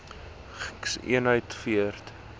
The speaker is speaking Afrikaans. gks eenhede weet